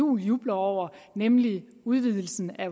juhl jubler over nemlig udvidelsen af